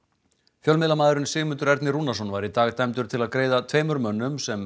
fjölmiðlamaðurinn Sigmundur Ernir Rúnarsson var í dag dæmdur til að greiða tveimur mönnum sem